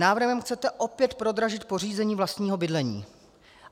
Návrhem chcete opět prodražit pořízení vlastního bydlení.